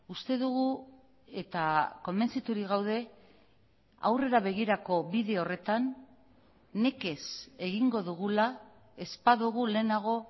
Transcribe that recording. uste dugu eta konbentziturik gaude aurrera begirako bide horretan nekez egingo dugula ez badugu lehenago